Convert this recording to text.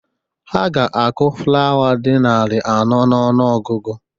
Ha ga-akụ flawa dị narị anọ n'ọnụọgụgụ.